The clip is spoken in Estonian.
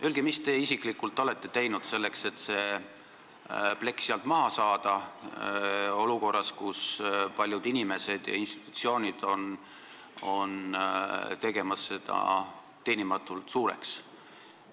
Öelge, mis te isiklikult olete teinud selleks, et see plekk sealt maha saada olukorras, kus paljud inimesed ja institutsioonid püüavad seda teha teenimatult suureks!